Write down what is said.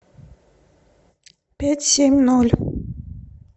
пять семь ноль